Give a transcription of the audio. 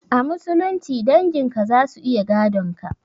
A musulunci dangin ka zasu iya gadon ka.